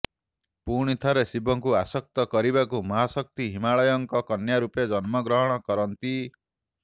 ପୁଣି ଥରେ ଶିବଂକୁ ଆସକ୍ତ କରିବାକୁ ମହାଶକ୍ତି ହିମାଲୟଂକ କନ୍ୟା ରୂପେ ଜନ୍ମ ଗ୍ରହଣ କରନ୍ତି